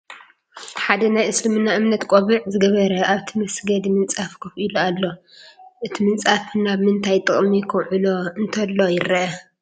ሓደ ናይ እስልምና እምነት ቆቢዕ ዝገበረ ኣብቲ መስገዲ ምንፃፍ ኮፍ ኢሉ ኣሎ፡፡ እቲ ምንፃፍ ናብ ምንታይ ጥቕሚ ከውዕሎ እንተሎ ይረአ?